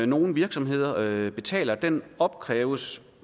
nogle virksomheder betaler opkræves